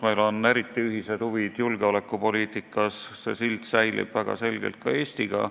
Meil on ühised huvid eriti julgeolekupoliitikas ja see sild ühendab Ühendkuningriiki väga selgelt ka Eestiga.